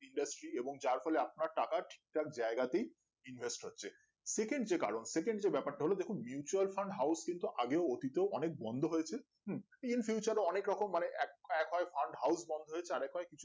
Industry এবং যার ফলে আপনার টাকা ঠিকঠাক জায়গাতেই invest হচ্ছে second যে কারণ 𝚜𝚎𝚌𝚘𝚗𝚍 যে ব্যাপারটা হল দেখো mutual Fund 𝚑𝚘𝚞𝚜𝚎 কিন্তু আগেও অতীতেও অনেক বন্ধ হয়েছে in future এঅনেক রকম মানেএক এক farmhouse বন্ধ হয়েছে আরেক রা